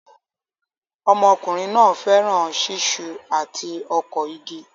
Ọmọkùnrin náà fẹ́ràn ṣiṣu àti ọkọ̀ igi